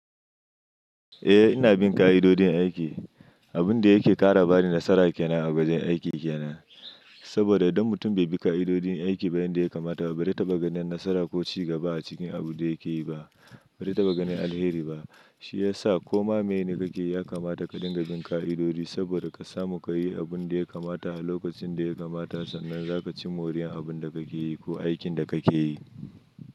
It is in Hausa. Eh ina bin ƙa'idodin aiki. Abin da yake ƙara bani nasara kenan a wajen aiki kenan. Saboda idan mutum bai bi ƙa'idodin aiki ba yanda ya kamata ba, ba zai taɓa ganin nasara ko cigaba a cikin abun da yake yi ba. Bai taɓa ganin alheri ba. Shi ya sa koma meye ne kake yi ya kamata ka dinga bin ƙa'idodi saboda ka samu ka yi abun da ya kamata a lokacin da ya kamata sannan za ka ci moriyan abun da kake yi ko aikin da kake yi.